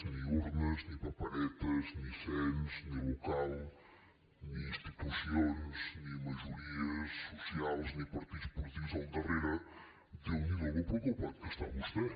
ni urnes ni paperetes ni cens ni local ni institucions ni majories socials ni partits polítics al darrere déu n’hi do com de preocupat està vostè